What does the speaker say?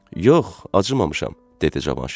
Yox, acımamışam, dedi Cavanşir.